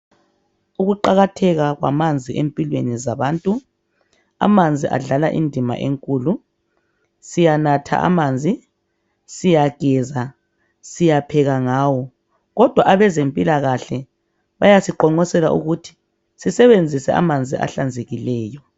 Ukuqakatheka kwamanzi empilweni zabantu, amanzi adlala indima enkulu, siyanatha amanzi, siyageza siyapheka ngawo. Kodwa abezempilakahle bayasiqonqosela ukuthi sisebenzise amanzi ahlanzekileyo.